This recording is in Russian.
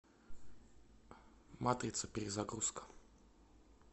матрица перезагрузка